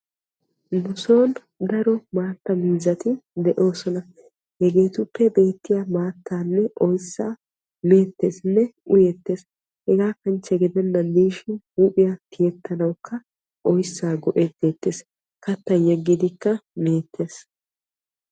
Nu soon daro maattaa miizzati de'oosona. Hegetuppe beetiyaa maattanne oyssa meettenne uyyeettees. Hega kanchche gidennan dishin huuphiya tiyyetanawukka oyssa go"etettees. Kattan yeggidikka meettes.